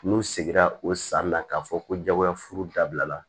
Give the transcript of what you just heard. N'u seginna o san na k'a fɔ ko jagoyafuru dabila